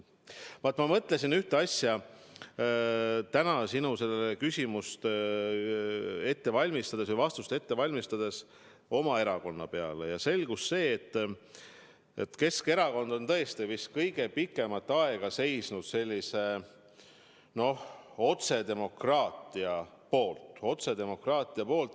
Ma mõtlesin täna sinu küsimusele vastust ette valmistades oma erakonna peale ja jõudsin järeldusele, et Keskerakond on tõesti vist kõige pikemat aega seisnud sellise, noh, otsedemokraatia eest.